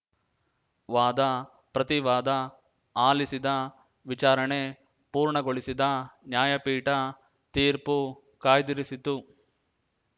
ವಾದಪ್ರತಿವಾದ ಆಲಿಸಿದ ವಿಚಾರಣೆ ಪೂರ್ಣಗೊಳಿಸಿದ ನ್ಯಾಯಪೀಠ ತೀರ್ಪು ಕಾಯ್ದಿರಿಸಿತು